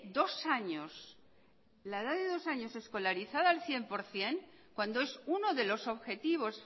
dos años la edad de dos años escolarizada al cien por ciento cuando es uno de los objetivos